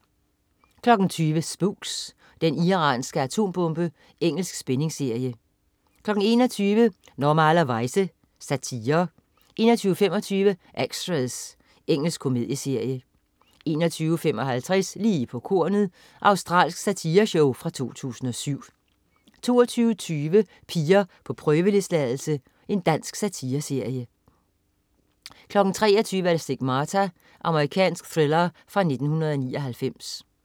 20.00 Spooks: Den iranske atombombe. Engelsk spændingsserie 21.00 Normalerweize. Satire 21.25 Extras. Engelsk komedieserie 21.55 Lige på kornet. Australsk satireshow fra 2007 22.20 Piger på prøveløsladelse. Dansk satireserie 23.00 Stigmata. Amerikansk thriller fra 1999